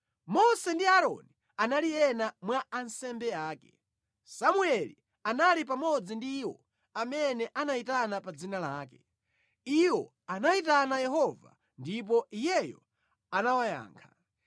Mose ndi Aaroni anali ena mwa ansembe ake, Samueli anali pamodzi ndi iwo amene anayitana pa dzina lake; iwo anayitana Yehova ndipo Iyeyo anawayankha.